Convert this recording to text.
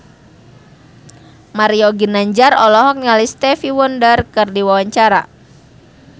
Mario Ginanjar olohok ningali Stevie Wonder keur diwawancara